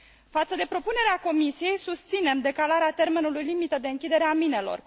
Față de propunerea Comisiei, susținem decalarea termenului limită de închidere a minelor.